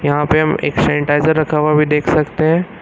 यहां पे हम एक सेनिटाइजर रखा हुआ भी देख सकते है।